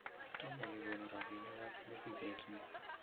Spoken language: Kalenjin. Tomo kekonu robinikab misiget ni